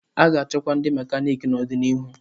A ga-achọkwa ndi mekaniki n'ọdịniihu.